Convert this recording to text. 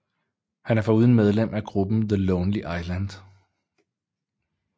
Han er foruden medlem af gruppen The Lonely Island